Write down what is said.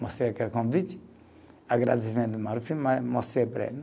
Mostrei aquele convite, agradecimento do Maluf mas, mostrei para ele né.